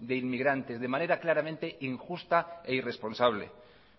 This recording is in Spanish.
de inmigrantes de manera claramente injusta e irresponsable